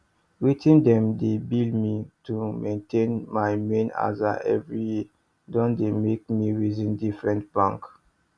wetin dem dey bill me to maintain my main aza every year don dey make me reason different bank